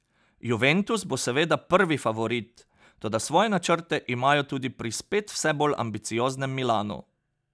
Juventus bo seveda prvi favorit, toda svoje načrte imajo tudi pri spet vse bolj ambicioznem Milanu.